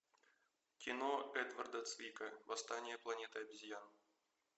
кино эдварда цвика восстание планеты обезьян